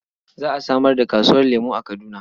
Za a samar da kasuwar lemo a Kaduna.